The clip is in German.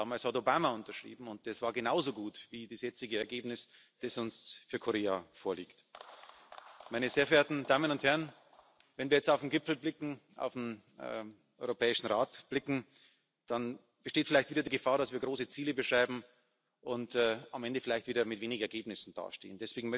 Damals hat Obama unterschrieben, und das war genauso gut wie das jetzige Ergebnis, das uns für Korea vorliegt. Wenn wir jetzt auf den Gipfel, auf den Europäischen Rat blicken, dann besteht vielleicht wieder die Gefahr, dass wir große Ziele beschreiben und am Ende vielleicht wieder mit wenigen Ergebnissen dastehen.